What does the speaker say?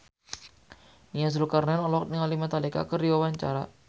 Nia Zulkarnaen olohok ningali Metallica keur diwawancara